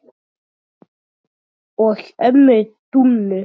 og ömmu Dúnu.